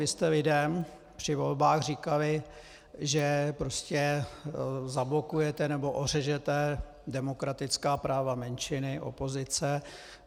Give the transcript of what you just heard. Vy jste lidem při volbách říkali, že prostě zablokujete nebo ořežete demokratická práva menšiny, opozice.